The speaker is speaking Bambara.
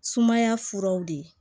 Sumaya furaw de ye